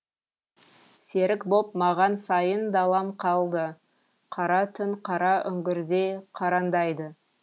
серік боп маған сайын далам қалды қара түн қара үңгірдей қараңдайды